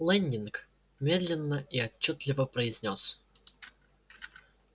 лэннинг медленно и отчётливо произнёс